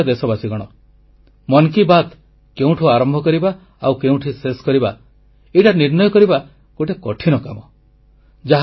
ମୋର ପ୍ରିୟ ଦେଶବାସୀଗଣ ମନ କି ବାତ୍ କେଉଁଠୁ ଆରମ୍ଭ କରିବା ଆଉ କେଉଁଠି ଶେଷ କରିବା ଏଇଟା ନିର୍ଣ୍ଣୟ କରିବା ଗୋଟିଏ କଠିନ କାମ